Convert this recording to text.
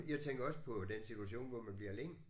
Jeg tænker også på den situation hvor man bliver alene